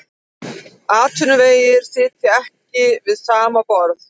Atvinnuvegir sitja ekki við sama borð